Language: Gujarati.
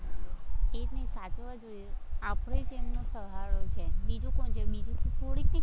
એ જ ને સાચવવા જોઈએ, આપણે જ એમને સહારો છે, બીજું કોણ છે, બીજું થોડી કઈ